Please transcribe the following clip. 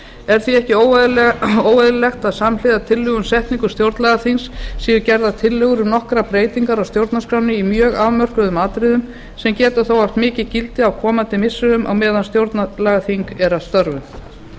er því ekki óeðlilegt að samhliða tillögu um setningu stjórnlagaþings séu gerðar tillögur um nokkrar breytingar á stjórnarskránni í mjög afmörkuðum atriðum sem geta þó haft mikið gildi á komandi missirum á meðan stjórnlagaþing er að störfum fyrst vík